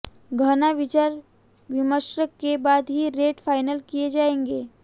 गहन विचार विमर्श के बाद ही रेट फाइनल किए जाएंगे